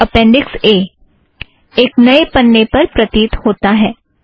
appendix A एक नए पन्ने पर प्रतीत होता है